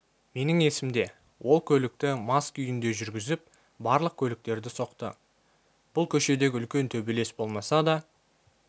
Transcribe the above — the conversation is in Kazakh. менің есімде ол көлікті мас күйінде жүргізіп барлық көліктерді соқты бұл көшедегі үлкен төбелес болмаса да